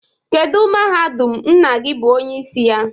Kedu mahadum nna gi bụ onyeisi ya?